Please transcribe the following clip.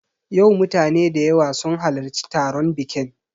Yau mutane da yawa sun halarci taron biƙin